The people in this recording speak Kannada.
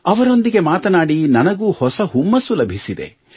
ಅವರೊಂದಿಗೆ ಮಾತನಾಡಿ ನನಗೂ ಹೊಸ ಹುಮ್ಮಸ್ಸು ಲಭಿಸಿದೆ